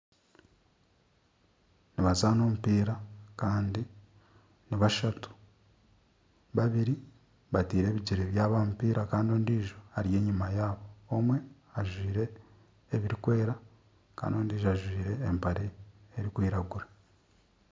Nibazaana omupiira kandi ni bashatu. Babiri bateire ebigyere byabo omupiira kandi ondiijo ari enyima yaabo. Omwe ajwaire ebirikwera kandi ondiijo ajwaire empare erikwiragura.